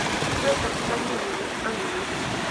петр савельевич алиев